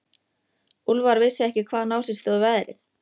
Úlfar vissi ekki hvaðan á sig stóð veðrið.